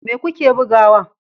Me kuke bugawa?